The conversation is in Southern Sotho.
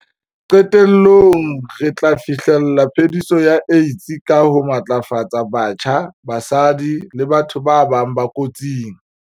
Qetellong, re tla fi hlella phe-diso ya AIDS ka ho matlafatsa batjha, basadi le batho ba bang ba kotsing.